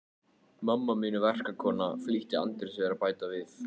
Mamma mín er verkakona, flýtti Andri sér að bæta við.